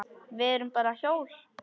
Við erum bara hjól.